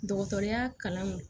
Dɔgɔtɔrɔya kalan